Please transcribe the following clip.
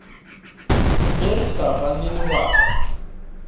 ge re sa gane lebaka